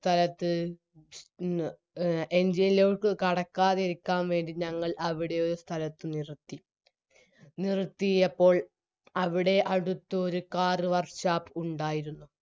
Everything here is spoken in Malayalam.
സ്ഥലത്ത് ന് എ engine ലോക്ക് കടക്കാതിരിക്കാൻ വേണ്ടി ഞങ്ങൾ അവിടെ ഒരു സ്ഥലത്ത് നിർത്തി നിർത്തിയപ്പോൾ അവിടെ അടുത്ത് ഒരു car work shop ഉണ്ടായിരുന്നു